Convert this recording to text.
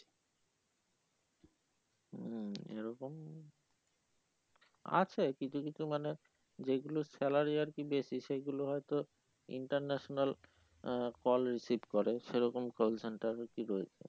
হম এরকম আছে কিছু কিছু মানে যে গুলোর salary আর কি বেশি সেই গুলো হয়ে তো international আহ call receive করে সেরকম call centre